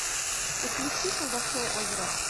подключи колдовское озеро